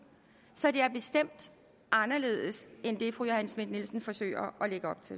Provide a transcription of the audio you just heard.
så det er bestemt anderledes end det fru johanne schmidt nielsen forsøger